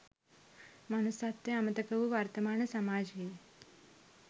මනුස්සත්වය අමතක වූ වර්තමාන සමාජයේ